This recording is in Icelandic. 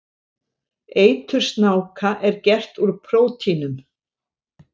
Eitur snáka er gert úr prótínum.